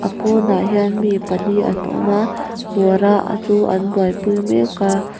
pawnah hian mi pali an awm a buara a chu an buaipui mek a. pawnah hian mi pali an awm a buara a chu an buaipui mek a.